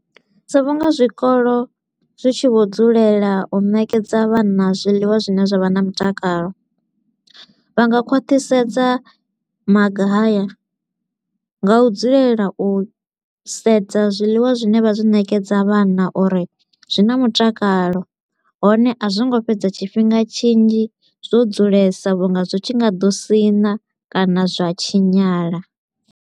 So vhu nga zwikolo zwi tshi vho dzulela u nekedza vhana zwiḽiwa zwi ne zwa vha na mutakalo. Vha nga khwathisedza maga haya nga u dzulela u sedza zwiḽiwa zwi ne vha zwi ṋekedza vhana uri zwi na mutakalo, hone a zwi ngo fhedza tshifhinga tshinzhi zwo dzulesa vhu nga zwi tshi nga ḓo sina kana zwa tshinyala.